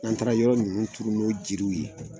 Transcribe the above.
An bɛ taga yɔrɔ ninnu tuuru n'o jiri ye.